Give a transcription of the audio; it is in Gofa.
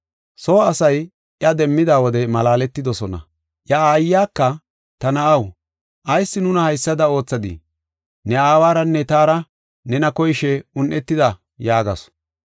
Soo asay iya demmida wode malaaletidosona. Iya aayaka, “Ta na7aw, ayis nuna haysada oothadii? Ne aawaranne taara nena koyishe un7etida” yaagasu.